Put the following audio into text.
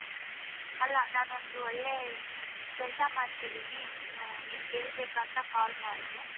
ಅಲ್ಲ ನಾನೊಂದ್ ಒಳ್ಳೆ ಕೆಲಸ ಮಾಡ್ತೀದಿನಿ ನೀನು ನಿನ್ ಹೆಕ್ಬೇಕಂತ call ಮಾಡ್ದೆ.